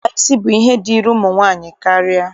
Ịkpa isi bụ ihe dịịrị ụmụ nwaanyị karịa.